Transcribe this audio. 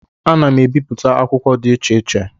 Ana m ebipụta akwụkwọ dị iche iche